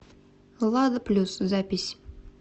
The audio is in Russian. лада плюс запись